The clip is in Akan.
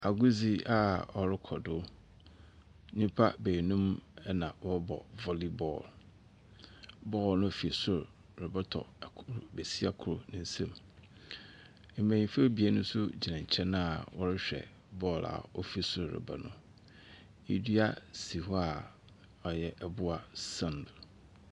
Agordzi a ɔrokɔ do. Nyimpa beenum na wɔrobɔ volley ball. Ball no fi sor robɔtɔ kor besia kor ne nsamu. Mbenyinfo ebien nso gyina nkyɛn a wɔrehwɛ ball a ofi sor reba no. Dua si hɔ a ɔyɛ abua san .